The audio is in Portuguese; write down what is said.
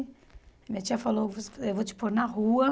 Minha tia falou, eu vou te pôr na rua.